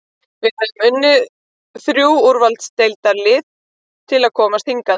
Við höfum unnið þrjú úrvalsdeildarlið til að komast hingað.